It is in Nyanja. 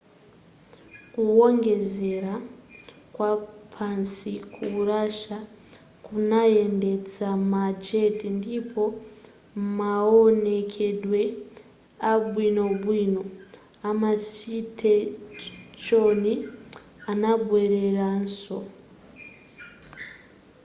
kuwongolera kwapansi ku russia kunayendetsa ma jet ndipo maonekedwe abwinobwino amasiteshoni anabweleranso